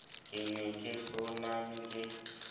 ke ne ke hloname ke